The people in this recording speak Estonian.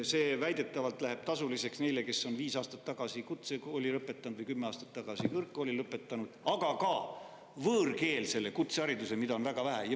See väidetavalt läheb tasuliseks neile, kes on viis aastat tagasi kutsekooli lõpetanud või kümme aastat tagasi kõrgkooli lõpetanud, aga ka võõrkeelses kutsehariduses, mida on väga vähe.